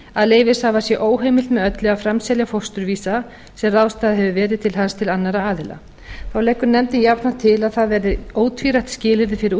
að leyfishafa sé óheimilt með öllu að framselja fósturvísa sem ráðstafað hefur verið til hans til annarra aðila þá leggur nefndin jafnframt til að það verði ótvírætt skilyrði fyrir